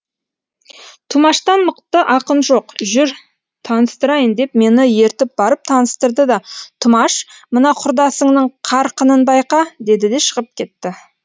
тұмаштан мықты ақын жоқ жүр таныстырайын деп мені ертіп барып таныстырды да тұмаш мына құрдасыңның қарқынын байқа деді де шығып кетті